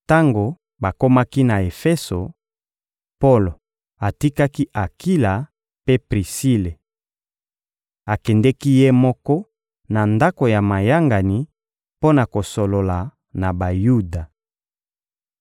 Tango bakomaki na Efeso, Polo atikaki Akila mpe Prisile. Akendeki ye moko na ndako ya mayangani mpo na kosolola na Bayuda.